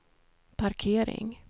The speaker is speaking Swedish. parkering